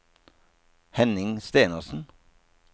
Henning Stenersen